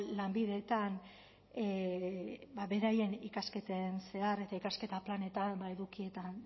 lanbideetan beraien ikasketen zehar eta ikasketa planetan edukietan